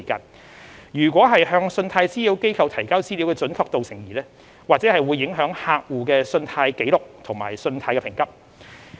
倘若向信貸資料機構提交資料的準確度成疑或會影響客戶信貸紀錄和信貸評級。